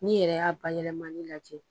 Ni yɛrɛ y'a ba yɛlɛmani lajɛ.